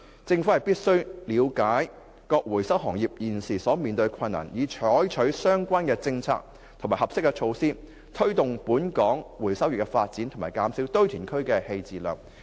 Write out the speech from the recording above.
政府必須了解各回收行業現時面對的困難，以採取相關政策及合適措施，推動本港回收業的發展和減少堆填區棄置量。